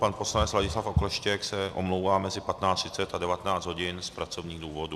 Pan poslanec Ladislav Okleštěk se omlouvá mezi 15.30 a 19 hodin z pracovních důvodů.